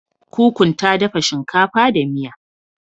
Kukun ta dafa shinkafa da miya.